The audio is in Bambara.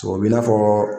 O b'i n'a fɔ